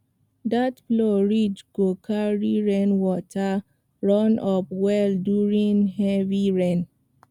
that plow ridge go carry rainwater runoff well during heavy rain